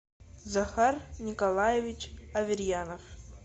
захар николаевич аверьянов